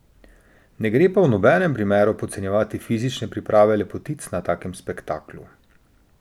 Ne gre pa v nobenem primeru podcenjevati fizične priprave lepotic na takem spektaklu.